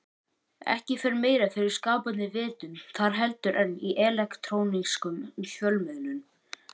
Ekki fer meira fyrir skapandi vitund þar heldur en í elektrónískum fjölmiðlum.